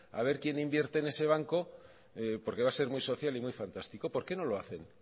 a ver quién invierte en ese banco porque va a ser muy social y muy fantástico por qué no lo hacen